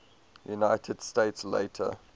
united states later